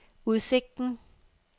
udsigten